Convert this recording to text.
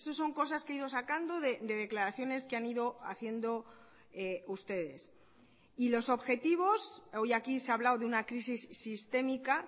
son cosas que he ido sacando de declaraciones que han ido haciendo ustedes y los objetivos hoy aquí se ha hablado de una crisis sistémica